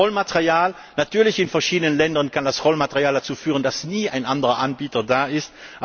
Das Rollmaterial Natürlich in verschiedenen Ländern kann das Rollmaterial dazu führen, dass nie ein anderer Anbieter da ist.